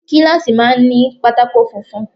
Kíláàsì máa ń ní pátákó funfun.